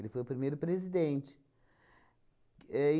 Ele foi o primeiro presidente. Ahn